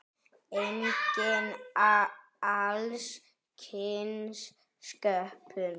Einnig alls kyns sköpun.